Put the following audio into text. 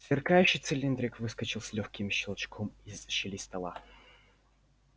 сверкающий цилиндрик выскочил с лёгким щелчком из щели стола